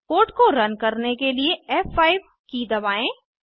code को run करने के लिए फ़5 की दबाएँ